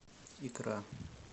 икра